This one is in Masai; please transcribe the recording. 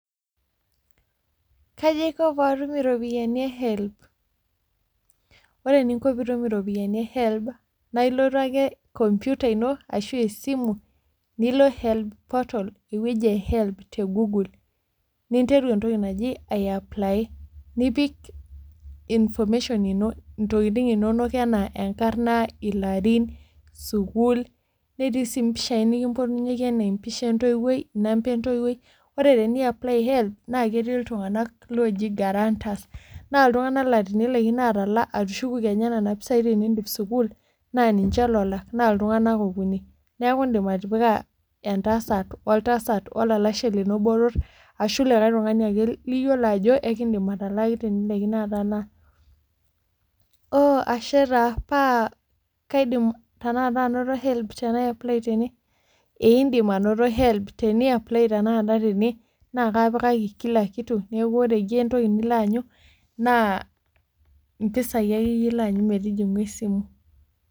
Kayi aiko patum iropiani ee HELB ?Ore eninko pitum iropiani ee HELB, naa ilotu ake computer ino ashu esimu nilo HELB portal, eweji ee HELB te google ning'oru entoki najii aii apply nipik information ino, intokitin inono enaa enkarna , ilarin ,sukul netii si mpishai nikimpotunyeki anaa empisha entowoi, namba entowoii. Ore piya apply HELB, naa ketii iltung'ana loji guaranters naa iltung'anak laa tenilakino atalaa atushuku kenya nena pisai tenidip sukul na ninche lolak naa iltung'anak okuni. Neeku idim atipika entasat, oltasat woo lalashe lino botor, ashu likae tukani ake liyiolo ajo ikidim atalaaki tenilakino atalaa. Ooh ashe taa paa kaidim tenakata anoto HELB tenaa apply tene?. Ee idim anoto HELB tenakata tene na kapikaki kila kitu neeku ore iyie entoki nilo anyu naa mpisai ake ilo iyie anyu metining'u esimu.